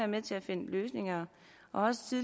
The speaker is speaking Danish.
med til at finde løsninger og